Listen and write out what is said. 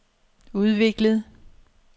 udviklet